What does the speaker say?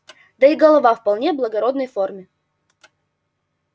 да и голова вполне благородной формы